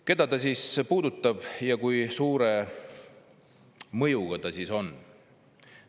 Keda see siis puudutab ja kui suure mõjuga see on?